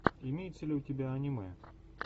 имеется ли у тебя аниме